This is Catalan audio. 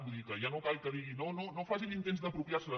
vull dir que ja no cal que digui no no facin intents d’apropiar·se·la